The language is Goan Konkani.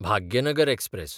भाग्यनगर एक्सप्रॅस